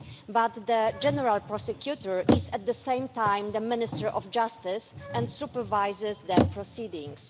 but the General Prosecutor is, at the same time, the Minister of Justice and supervises their proceedings.